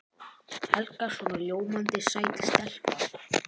Helga svona ljómandi sæt stelpa.